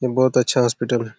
ये बहुत अच्छा हॉस्पिटल है।